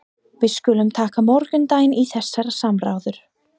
Við skulum taka morgundaginn í þessar samræður.